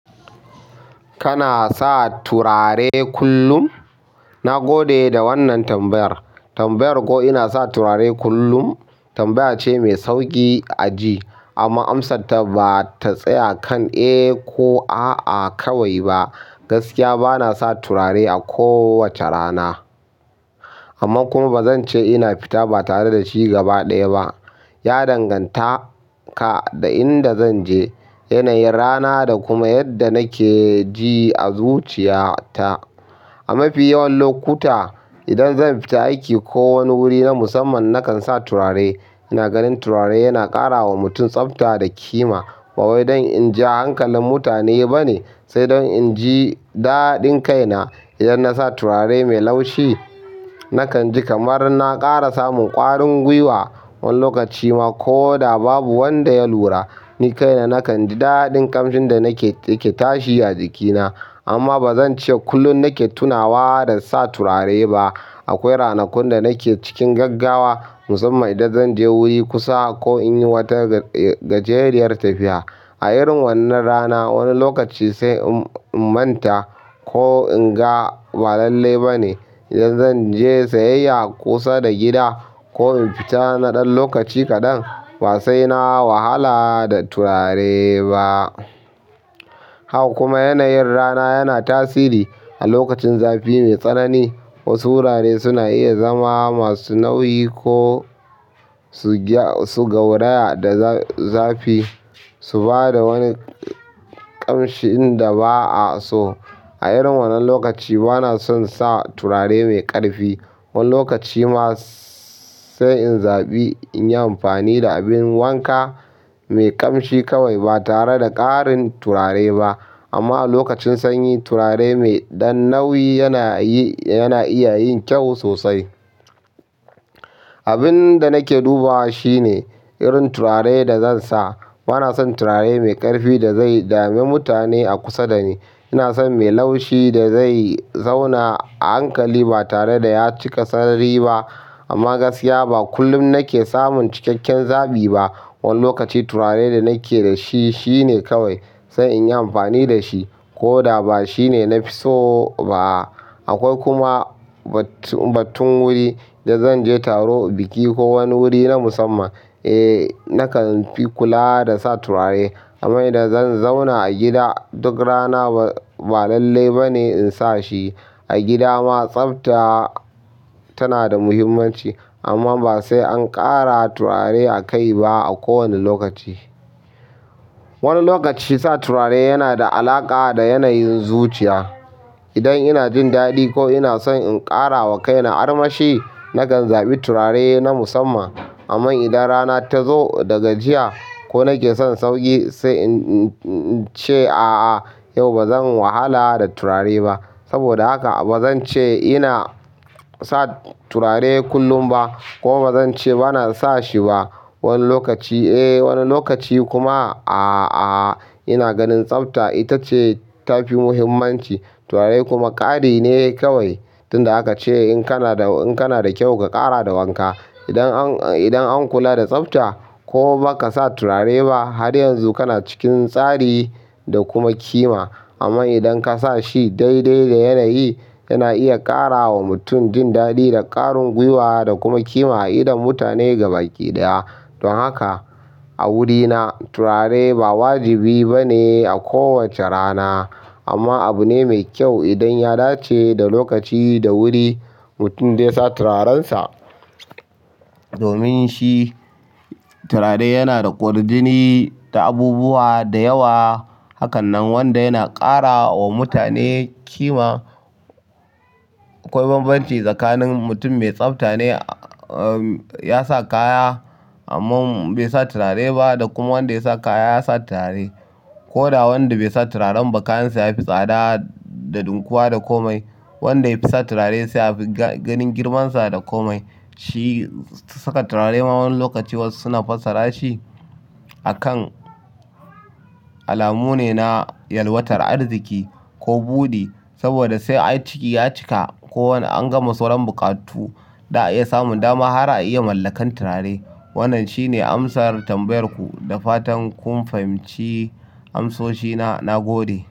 Kana sa turare kullum? Na gode da wannan tambayar. Tambayar ko ina sa turare kullum, tambaya ce mai sauƙi a ji amma amsarta ba ta tsaya kan eh ko a'a kawai ba. Gaskiya bana sa turare a kowace rana amma kuma bazan ce ina fita ba tare da shi gaba ɗaya ba. Ya danganta ka da inda zanje, yanayin rana da kuma yadda nake ji a zuciya ta. A mafi yawan lokuta, idan zan fita aiki ko wani wuri na musamman nakan sa turare. Ina ganin turare yana ƙarawa mutun tsafta da kima ba wai don in ja hankalin mutane ba ne sai don in ji daɗin kaina. Idan nasa turare mai laushi nakan ji kamar na ƙara samun ƙwarin guiwa. Wani lokaci ma ko da babu wanda ya lura ni kaina nakan ji daɗin ƙamshin da nake yake tashi a jikina. Amma bazan ce kullum nake tunawa da sa turare ba. Akwai ranakun da nake cikin gaggawa musamman idan zan je wuri kusa ko in yi wata gajeriyar tafiya. A irin wannan rana wani lokaci sai in manta ko in ga ba lallai ba ne. Idan zan je sayayya kusa da gida ko in fita na ɗan lokaci kaɗan, ba sai na wahala da turare ba. Haka kuma yanayin rana yana tasiri. A lokacin zafi mai tsanani, wasu turare suna iya zama masu nauyi ko su gauraya da zafi su ba da wani ƙamshi inda ba'a so. A irin wannan lokaci bana son sa turare mai ƙarfi. Wani lokaci ma sai in zaɓi in yi amfani da abin wanka mai ƙamshi kawai ba tare da ƙarin turare ba. Amma a lokacin sanyi turare mai ɗan nauyi yana iya yin kyau sosai. Abinda nake duba shine, irin turare da zan sa. Bana son turare mai ƙarfi da zai dame mutane a kusa da ni. Ina son mai laushi da zai zauna a hankali ba tare da ya cika sari ba. Amma gaskiya ba kullum nake samun cikakken zaɓi ba. Wani lokaci turare da nake da shi shi ne kawai sai in yi amfani da shi ko da ba shi ne na fi so ba. Akwai kuma batun wuri. Idan zan je taro, biki ko wani wuri na musamman eh nakan fi kula da sa turare. Amma idan zan zauna a gida duk rana ba lallai ba ne in sa shi. A gida ma tsafta tana da muhimmanci amma ba sai an ƙara turare a kai ba a kowane lokaci. Wani lokaci sa turare yana da alaƙa da yanayin zuciya. Idan ina jin daɗi ko ina son in ƙara wa kaina armashi nakan zaɓi turare na musamman. Amma idan rana ta zo daga jiya ko nake son sauƙi, sai in ce a'a yau bazan wahala da turare ba. Saboda haka bazan ce ina sa turare kullum ba kuma bazan ce bana sa shi ba. Wani lokaci eh wani lokaci kuma a'a. Ina ganin tsafta ita ce tafi muhimmanci turare kuma ƙari ne kawai. Tunda aka ce in kana da kyau ka ƙara da wanka. Idan an kula da tsafta ko baka sa turare ba har yanzu kana cikin tsari da kuma ƙima. Amma idan ka sa shi daidai da yanayi yana iya ƙara wa mutum jin daɗi da ƙwarin guiwa da kuma ƙima a idon mutane gaki ɗaya. Don haka a wurina turare ba wajibi ba ne a kowace rana amma abu ne mai kyau idan ya dace da lokaci da wuri mutum zai sa turarensa. Domin shi turare yana da kwarjini da abubuwa da yawa. Hakan nan wanda yana ƙara wa mutane kima. Akwai bambanci tsakanin mutum mai tsafta ne ya sa kaya amma bai sa turare ba da kuma wanda ya sa kaya ya sa turare. Ko da wanda bai sa turaren ba kayansa yafi tsada da ɗinkuwa da komai. Wanda ya fi sa turare sai yafi ganin girmansa da komai. Shi saka turare ma wani lokaci wasu suna fassara shi akan alamu ne na yalwatar arziki ko buɗi. Saboda sai ai ciki ya cika ko wani an gama sauran buƙatu da a iya samun dama har a iya mallakan turare. Wannan shine amsar tambayar ku. Da fatan kun fahimci amsoshi na, nagode.